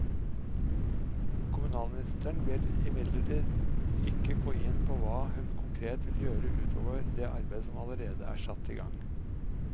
Kommunalministeren vil imidlertid ikke gå inn på hva hun konkret vil gjøre ut over det arbeidet som allerede er satt i gang.